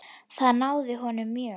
Það háði honum mjög.